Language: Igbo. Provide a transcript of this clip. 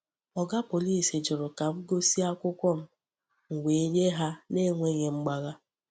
Oga Pọlịs jụrụ ka m gosi akwụkwọ m, m wee nye ha n’enweghị mgbagha.